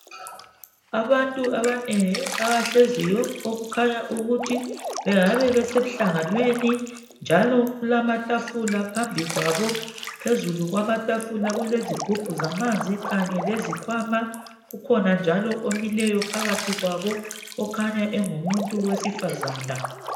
Abantu abanengi abahlezi okukhanya ukuthi bengabe besemhlanganweni njalo kulamatafula phambi kwabo. Phezulu kwamatafula kulezigubhu zamanzi kanye lezikhwama. Kukhona njalo omileyo phakathi kwabo okhanya engumuntu wesifazana.